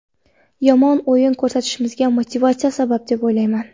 Yomon o‘yin ko‘rsatishimizga motivatsiya sabab deb o‘ylamayman.